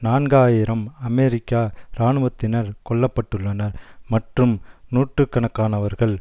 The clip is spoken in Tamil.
நான்காயிரம் அமெரிக்கா இராணுவத்தினர் கொல்ல பட்டுள்ளனர் மற்றும் நூற்று கணக்கானவர்கள்